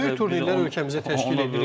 Böyük turnirlər ölkəmizdə təşkil edirik.